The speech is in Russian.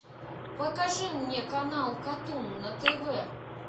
покажи мне канал катун на тв